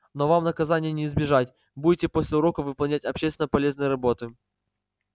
но вам наказания не избежать будете после уроков выполнять общественно полезные работы